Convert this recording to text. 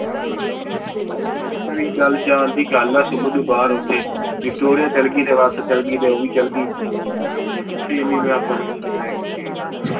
ਇੱਕ ਵਾਰੀ ਗੱਲ ਜਾਣ ਦੀ ਗੱਲ ਆ ਸੁਮਨ ਨੂੰ ਬਾਹਰ ਓਥੇ victoria ਚਲਗੀ ਤੇ ਬਸ ਚਲਗੀ ਤੇ ਉਹਵੀ ਚਲਗੀ .